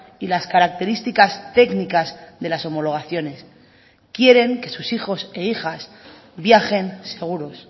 y las características técnicas de las homologaciones quieren que sus hijos e hijas viajen seguros